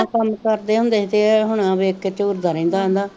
ਏਨਾ ਕੰਮ ਕਰਦੇ ਹੁੰਦੇ ਸੀ ਤੇ ਹੁਣ ਵੇਖ ਕੇ ਚੁਰਦਾ ਰਹਿੰਦਾ ਰਹਿੰਦਾ